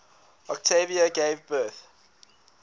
octavia gave birth